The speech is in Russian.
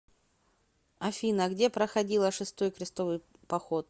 афина где проходила шестой крестовый поход